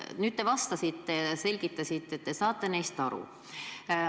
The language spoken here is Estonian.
Nüüd selgitasite meile vastates, et te saate neist aru.